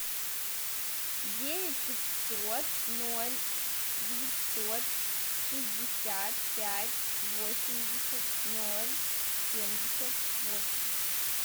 девять пятьсот ноль девятьсот шестьдесят пять восемьдесят ноль семьдесят восемь